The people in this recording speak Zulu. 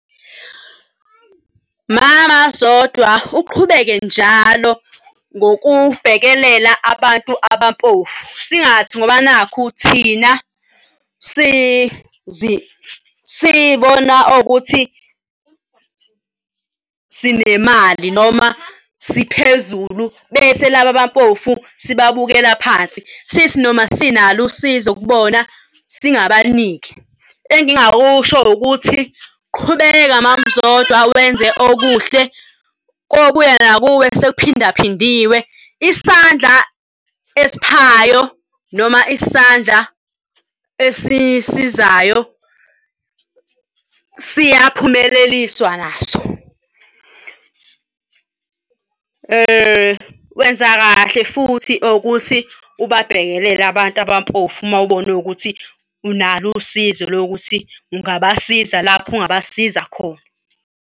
Mama Zodwa uqhubeke njalo ngokubhekelela abantu abampofu. Singathi ngoba nakhu thina siy'bona ukuthi sinemali noma siphezulu, bese laba abampofu sibamukela phansi sithi noma sinalo usizo kubona singabaniki. Engingakusho ukuthi qhubeka Mam'Zodwa wenze okuhle kobuya nakuwe sekuphinda phindiwe isandla esiphayo noma isandla esisizayo siyaphumeleliswa naso. Wenza kahle futhi ukuthi ubabhekelele abantu abampofu uma ubone ukuthi unalo usizo lokuthi ungabasiza lapho ungabasiza khona.